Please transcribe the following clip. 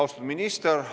Austatud minister!